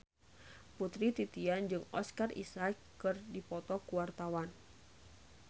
Putri Titian jeung Oscar Isaac keur dipoto ku wartawan